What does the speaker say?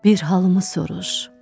Bir halımı soruş.